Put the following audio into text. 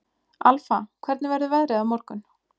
Alfa, hvernig verður veðrið á morgun?